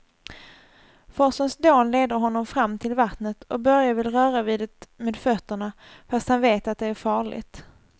Forsens dån leder honom fram till vattnet och Börje vill röra vid det med fötterna, fast han vet att det är farligt.